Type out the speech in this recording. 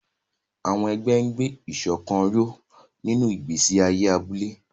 Àwọn ẹgbẹ́ ń gbé ìṣọ̀kan ró nínú ìgbésí ayé abúlé.